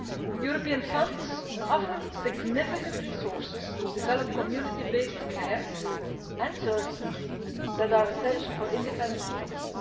European funds offer significant resources to developing the community-based care and services that are essential for independent living.